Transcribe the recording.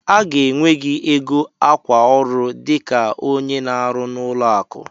A ga-enwe gị ego akwa ọrụ dịka onye na-arụ n'ụlọ akụ.